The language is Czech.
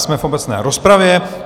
Jsme v obecné rozpravě.